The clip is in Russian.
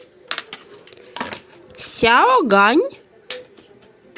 сяогань